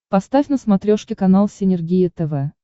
поставь на смотрешке канал синергия тв